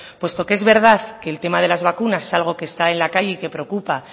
puesto que es verdad que el tema de las vacunas es algo que está en la calle y que preocupa